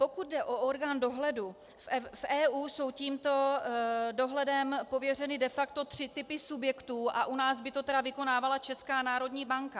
Pokud jde o orgán dohledu, v EU jsou tímto dohledem pověřeny de facto tři typy subjektů a u nás by to tedy vykonávala Česká národní banka.